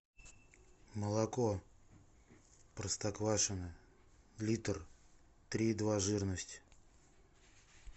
молоко простоквашино литр три и два жирность